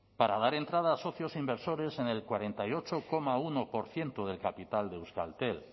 para dar entrada a socios inversores en el cuarenta y ocho coma uno por ciento del capital de euskaltel